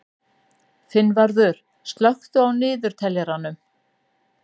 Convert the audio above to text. Finnvarður, slökktu á niðurteljaranum.